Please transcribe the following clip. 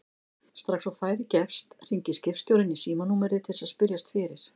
Strax og færi gefst hringir skipstjórinn í símanúmerið til að spyrjast fyrir.